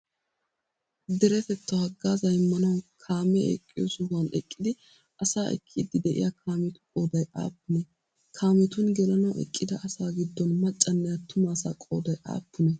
Deretettawu haggaazaa immanawu kaamee eqqiyo sohuwan eqqidi asaa ekkiddi de'iyaa kaametu qooday aappunee? Kaametun gelanawu eqqida asaa giddon maccaanne attuma asaa qooday aappunee?